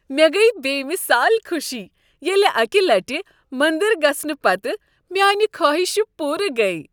مےٚ گٔیۍ بے مثال خوشی ییٚلہ اكہِ لٹہِ مندر گژھنہٕ پتہٕ میانِہ خٲہشہٕ پوٗرٕ گٔیہ۔